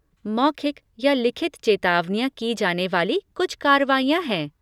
मौखिक या लिखित चेतावनियाँ की जाने वाली कुछ कार्रवाइयाँ हैं।